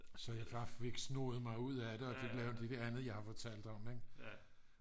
så jeg fik snoet mig ud af det og fik lavet det der andet jeg har fortalt dig om ik